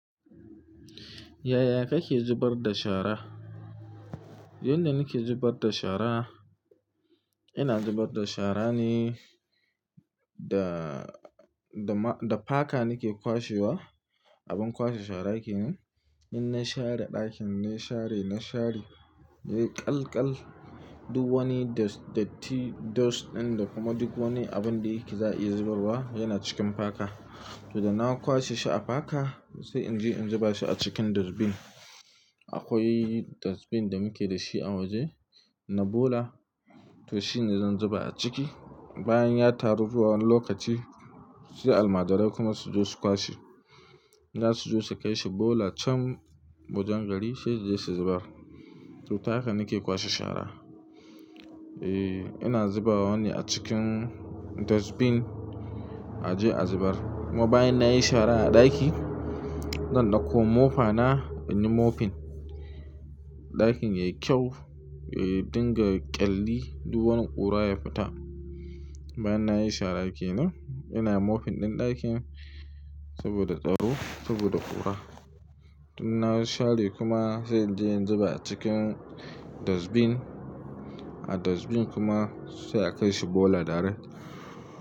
Yaya kake zubar da shara? Yanda nake zubar da shara, ina zubar da shara ne da, da ma, da faka nake kwashewa. Abin kwashe shara kenan. In na share ɗakin na share, na share nai ƙalƙal, duk wani dust, datti, dust ɗin da kuma duk wani abun da yike za iya zubarwa yana cikin faka. To da na kwashe shi a faka sai in je in zuba shi a cikin dustbin. Akwai dustbin da muke da shi a waje. Na ɓola to shi ne zan zuba a ciki. Bayan ya taru zuwa wani lokaci sai almajirai kuma su zo su kwashe. Za su zo su kai shi ɓola can wajen gari sai je su zubar. To haka nake kwashe shara. E, ina zubawa ne a cikin dustbin a je a zubar. Kuma bayan nayi shara a ɗaki zan ɗauko mofa na in yi moping. Ɗakin yayi kyau, e, dinga ƙyalli duk wani ƙura ya fita. Bayan nayi shara kenan ina moping ɗin ɗakin saboda tsaro saboda ƙura. Tun na share kuma sai in je in zuba a cikin dustbin. A dustbin kuma sai a kai shi ɓola direct.